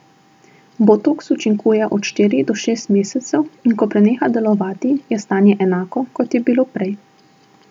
Botoks učinkuje od štiri do šest mesecev in ko preneha delovati, je stanje enako, kot je bilo prej.